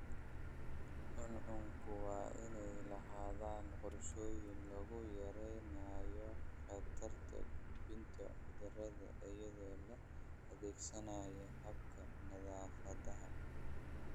Cuncunku waa inay lahaadaan qorshooyin lagu yareynayo khatarta gudbinta cudurrada iyadoo la adeegsanayo hababka nadaafadda.